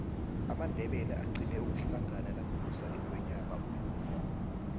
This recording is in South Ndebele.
amandebele agqina ukuhlangana nakubusa ingwenyama umusi